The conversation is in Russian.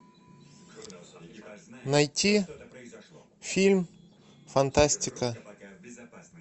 найти фильм фантастика